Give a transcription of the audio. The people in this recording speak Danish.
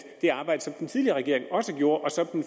det arbejde som den tidligere regering også gjorde og som den